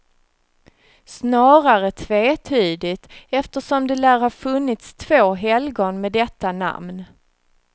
Snarare tvetydigt eftersom det lär ha funnits två helgon med detta namn.